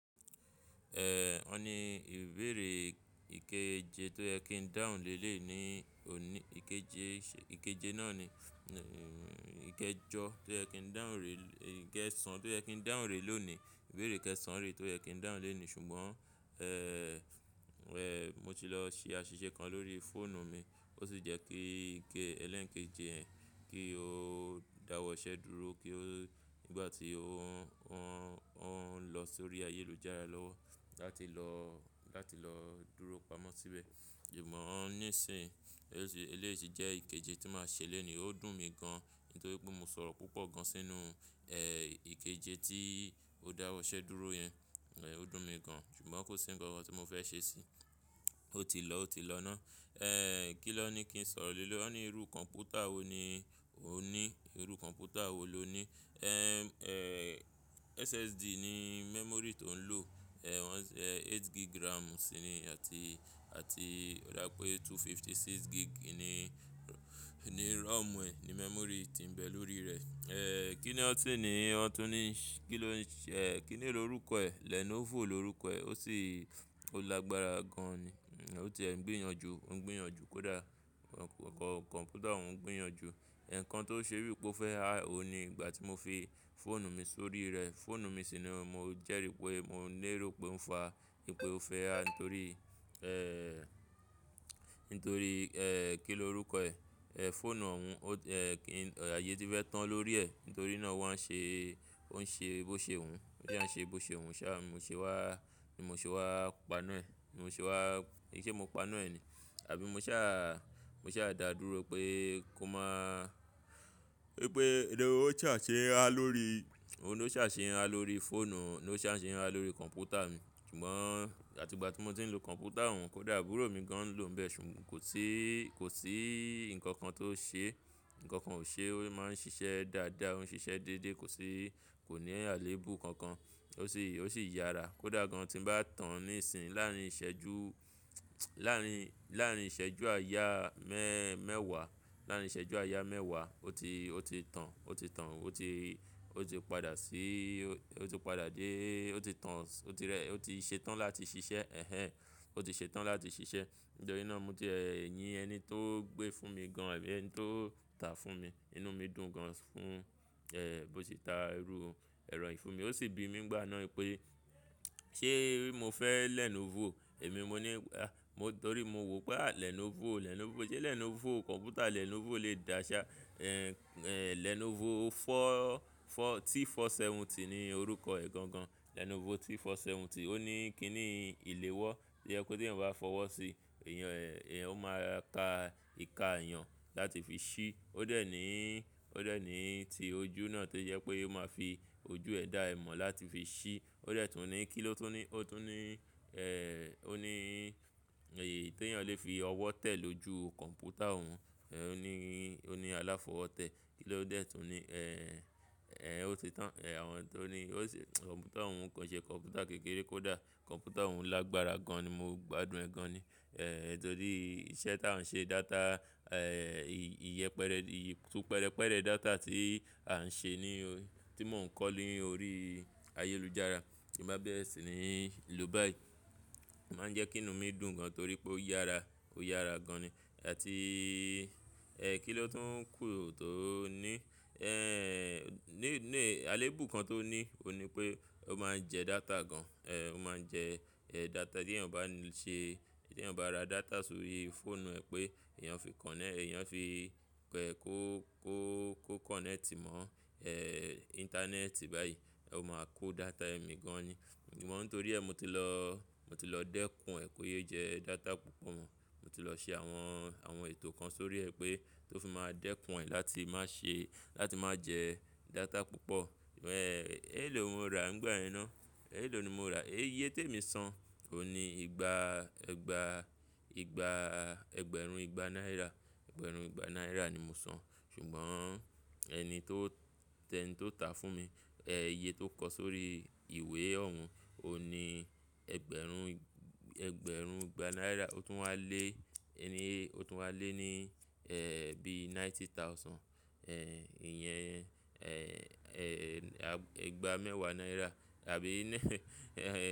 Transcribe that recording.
Ẹ̀, wọ́n ni ìbéèrè ìkéje tó yẹ kí n dáhùn lé lé yii ní òní, ìkéje, ìkéje náà ni, ìkéjọ tó yẹ kí n dáhùn ré, ìkẹẹ̀sán tó yẹ kí n dáhùn ré lónìí. Ìbéèrè kẹsan rè tó yẹ kí n dáhùn lé ni ṣùgbọ́n, ẹ́, mo ti lọ ṣe àṣìṣe kan lórí fóònù mi, ó sì jẹ́ kí gé, ẹlẹ́ǹkéje yẹn kí ó dáwọ́ iṣẹ́ dúró kí ó, nígbà tí ó ń, ó ń, ó ń lọ sórí ayélujára lọ́wọ́ láti lọ, láti lọ dúró pamọ́ síbẹ̀. Ìmọ̀ ọ́n níìsín, eléèsi jẹ́ ìkéje tí máa ṣe lónìí, ó dùn mí gan nítorí pé mo sọ̀rọ̀ púpọ̀ gan sínú, ẹ́, ìkéje tí ó dáwọ́ iṣẹ́ dúró yẹn, ó dùn mí gan ṣùgbọ́n kò sí nǹkan kan tí mo fẹ́ ṣe sí i, ó ti lọ, ó ti lọ ná. Ẹ́, kí ló ní kí n sọ̀rọ̀ lé lé? Ọ́n ní irú kọ̀ǹpútà wo ni o ní? Irú kọ̀ǹpútà wo lo ní? Ẹ́, ẹ́, SSD ní memory tó ń lò, ẹ́, wọ́n ń sẹ, 8 gig RAM síi ní àti, àti ó dá pé 256 gig ni, ni ROM ẹ̀, ni memory tí ń bẹ lórí rẹ̀. Ẹ́, kí ni ọ́ tún ní? Ọ́n tún ní kí ló ń ṣe, ẹ́, kí ni orúkọ ẹ̀? Lenovo lorúkọ ẹ̀, ó sì, ó lágbára gan ni, ó ti ẹ̀ ń gbìyànjú, ń gbìyànjú kódà, kọ̀ǹpútà òun ń gbìyànjú. Ẹ̀ẹ̀kan tó ṣe bíì pé ó fẹ́ há òun ni ìgbà tí mo fi fóònù mi sórí rẹ̀, fóònù mi sì ni mo jẹ́rí pé mo lérò pé ó ń fa, wípé ó fẹ́ há nítorí, ẹ́, nítorí, ẹ́, kí ni orúkọ ẹ̀? Ẹ́, fóònù òun, ó ti, ayé tí fẹ́ tán lórí ẹ̀, nítorí náà ó wá ń ṣe, ó ń ṣe bó ṣe wù ú, ó ṣá à ń ṣe bó ṣe wù ú ṣá, n mo ṣe wá, ni mo ṣe wá paná ẹ̀, ni mo ṣe wá, kì í ṣe mo paná ẹ̀ ni, àbí mo sá à, mo sá dà dúró pé kó má, wípé ó ń ṣà ṣe ń á lórí, ó ń ṣà ṣe ń á lórí fóònù, ló ṣà ṣe ń á lórí kọ̀ǹpútà mi. Ṣùgbọ́n àti ìgbà tí mo ti ń lo kọ̀ǹpútà òun, kódà àbúrò mi gan ló ń bẹ ṣùgbọ́n kò sí, kò sí nǹkan kan tó ṣe, nǹkan kan ò ṣe, ó má ń ṣiṣẹ́ dáadáa, ó ń ṣiṣẹ́ dédé, kò sí, kò ní alẹ́èbù kankan. Ó sì, ó sì yára, kódà gan tí ń bá tàn níìsín láàárín ìṣẹ́jú, láàárín, láàárín ìṣẹ́jú àyà mẹ́ẹ̀wá, láàárín ìṣẹ́jú àyà mẹ́ẹ̀wá ó ti, ó ti tàn, ó ti tàn, ó ti, ó ti padà sí, ó ti padà dé, ó ti tàn, ó ti rẹ́, ó ti ṣe tán láti ṣiṣẹ́ ẹ̀hẹ̀n, ó ti ṣe tán láti ṣiṣẹ́. Nítorí náà mo ti, ẹ́, yin ẹni tó gbé fún mi gan àbí ẹni tó tà fún mi, inú mi dùn gan fún, ẹ́, bó ti ta irú ẹ̀rọ yìí fún mi. Ó sì bi mí ńgbà náà pé ṣé mo fẹ́ Lenovo? Èmi n mo ní, a, mo torí mo wò pé à Lenovo, Lenovo, ṣé Lenovo, kọ̀ǹpútà Lenovo lè dá ṣá? Ẹ̀, ẹ́, Lenovo 4, 4, T470 ni orúkọ ẹ̀ gangan. Lenovo T470. 470, ó ní kí ni ìléwọ́, tó jẹ pé t’èèyàn bá fọwọ́ sí, èèyàn ẹ̀, èèyàn máa ta ìka èèyàn láti fi ṣí. Ó dẹ̀ ní, ó dẹ̀ ní ti ojú náà tó jẹ pé ó máa fi ojú ẹ̀ dá ẹ mọ̀ láti fi ṣí. Ó dẹ̀ tún ní kí ló tún ní, ó tún ní, ẹ́, ó ní èyí tí èèyàn lè fi ọwọ́ tẹ̀ lójú kọ̀ǹpútà òun, ẹ́, ó ní, ó ní aláfọwọ́ tẹ̀. Kí ló dẹ̀ tún ní? Ẹ́, ẹ́, ó ti tán. Ẹ̀, àwọn n tó ní, ó si, kọ̀ǹpútà òun kò ń ṣe kọ̀ǹpútà kékeré kódà, kọ̀ǹpútà òun lágbára gan ni, mo gbádùn ẹ́ gan ni. Ẹ̀, nítorí iṣẹ́ ta ń ṣe, data, ẹ́, iye pẹrẹ, ì tú pẹrẹpẹrẹ data tí a ń ṣe ni, tí mò ń kọ̀ ní orí ayélujára, tí nbá bẹ̀rẹ̀ sì ni lò báyìí. Ó máa ń jẹ́ kí inú mi dùn gan torí pé ó yára, ó yára gan ni. Àti, ẹ́, kí ló tún kù tó ní? Ẹ́, ní, ní alẹ́èbù kan tó ní, ó n ní pé ó máa ń jẹ data gan. Ẹ́, ó máa ń jẹ, ẹ́, data tí èèyàn bá ń ṣe, tí èèyàn bá ra data sórí fóònù ẹ pé èèyàn fi kọ̀nẹ́, èèyàn fi kó, kó, kó kọ̀nẹ́ẹ̀tì mọ ẹ̀, íńtánẹ́ẹ̀tì báyìí, ó máa kó data ẹ̀ mì gan ni. Ìmọ̀, nítorí ẹ́ mo ti lọ, mo ti lọ dẹ́kùn ẹ́ kó yé jẹ data púpọ̀ mọ́. Mo ti lọ ṣe àwọn, àwọn ètò kan sórí ẹ pé tó fi máa dẹ́kùn ẹ́ láti má ṣe, láti má jẹ data púpọ̀. Ẹ́, éèló ni mo rà ńgbà ẹ ná, éèló ni mo rà. Eye t’èmi san ò n ní igba, igbaa, ìgbà ẹgbẹ̀rún ìgbà náírà. Ẹgbẹ̀rún igba náírà ni mo san ṣùgbọ́n ẹni tó, t’ẹni tó tà á fún mi, ẹ iye tó kọ sórí ìwé òun ò n ní ẹgbẹ̀rún, ẹgbẹ̀rún ìgbà náírà, ó tún wá lé, ẹni, ó tún wá lé ní, ẹ́, bí ninety thousand, ẹ́, ìyẹn, ẹ́, ẹ́, igba mẹ́wàá náírà àbí ní, ẹ̀